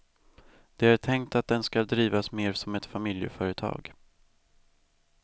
Det är tänkt att den skall drivas mer som ett familjeföretag.